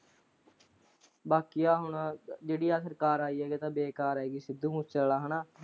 ਬਾਕੀ ਹੁਣ ਆ ਜਿਹੜੀ ਹੁਣ ਸਰਕਾਰ ਆਈ ਆ ਜਮਾਂ ਬੇਕਾਰ ਆਈ ਆ ਸਿੱਧੂਮੂਸੇ ਵਾਲਾ ਹਨਾਂ।